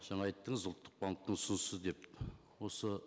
жаңа айттыңыз ұлттық банктің ұсынысы деп осы